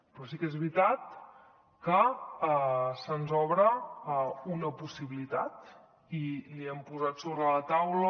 però sí que és veritat que se’ns obre una possibilitat i l’hi hem posat sobre la taula